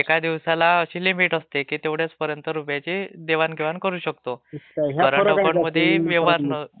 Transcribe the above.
एकादिवसाला अशी लिमिट असते की एवढीचं पर्यंत रुपयांचे देवण घेवाण करू शकते..Voice over lapping करंट अकाऊंटमध्ये ..